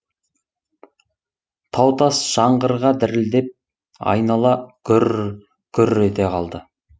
тау тас жаңғырыға дірілдеп айнала гүрр гүрр ете қалды